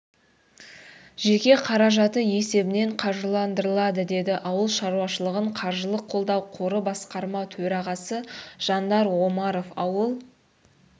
жеке қаражаты есебінен қаржыландырылады деді ауыл шаруашылығын қаржылық қолдау қоры басқарма төрағасы жандар омаров ауыл